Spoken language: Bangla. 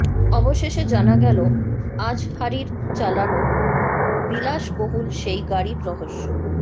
অবশেষে জানা গেল আজহারীর চালানো বিলাসবহুল সেই গাড়ির রহস্য